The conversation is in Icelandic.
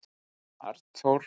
Arnþór